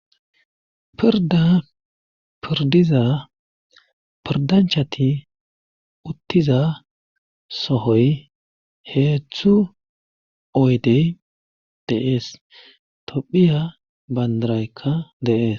Pirda pirdiza pirdanchati uttiza sohoy heethzthu oydey deees tophiya bayndaraykka deees